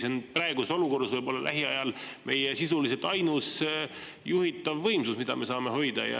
See on praeguses olukorras võib-olla lähiajal meie sisuliselt ainus juhitav võimsus, mida me saame hoida.